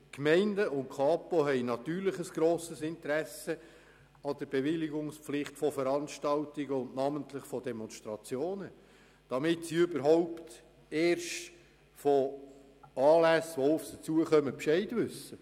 Die Gemeinden und die Kapo haben natürlich ein grosses Interesse an der Bewilligungspflicht von Veranstaltungen und namentlich von Demonstrationen, damit diese überhaupt Kenntnis davon erhalten.